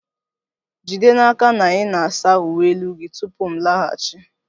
Jide n'aka na ị na-asa uwe elu gị tupu m laghachi!